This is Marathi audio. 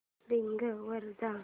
बिंग वर जा